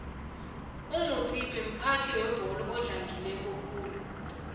umutsipe mphathi webolo oxagileko khulu